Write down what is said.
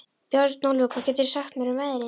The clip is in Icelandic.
Bjarnólfur, hvað geturðu sagt mér um veðrið?